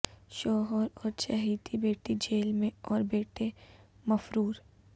شوہر اور چہیتی بیٹی جیل میں اور بیٹے مفرور